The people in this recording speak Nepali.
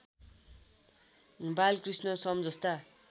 बालकृष्ण सम जस्ता